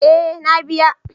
Eh na biya.